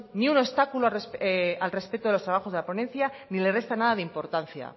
ni un obstáculo al respecto de los trabajos de la ponencia ni le resta nada de importancia